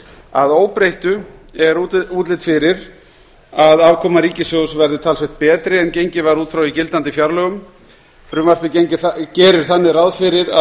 að óbreyttu er útlit fyrir að afkoma ríkissjóðs verði talsvert betri en gengið var út frá í gildandi fjárlögum frumvarpið gerir þannig ráð fyrir að